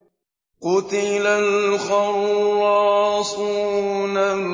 قُتِلَ الْخَرَّاصُونَ